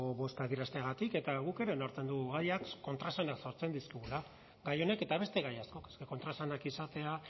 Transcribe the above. bozka adierazteagatik eta guk ere onartzen dugu gaiak kontraesanak sortzen dizkigula gai honek eta beste gai askok es ke kontraesanak izatea